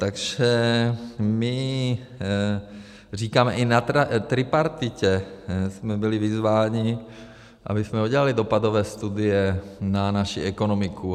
Takže my říkáme, i na tripartitě jsme byli vyzváni, abychom udělali dopadové studie na naši ekonomiku.